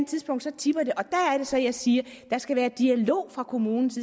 tidspunkt tipper det og det så jeg siger der skal være dialog fra kommunens